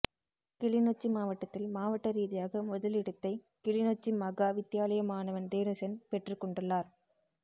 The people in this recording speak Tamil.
கிளிநொச்சி மாவட்டத்தில் மாவட்ட ரீதியாக முதலிடத்தை கிளிநொச்சி மகா வித்தியாலய மாணவன் தேனுசன் பெற்றுக்கொண்டுள்ளார்